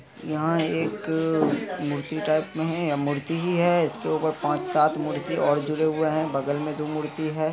यहाँ एक मूर्ति टाइप में हैं या मूर्ति ही हैं इसके ऊपर पाँच सात मूर्ति और जुड़े हुए हैं बगल में दो मूर्ति हैं।